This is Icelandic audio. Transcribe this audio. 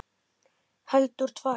Heldur tvær.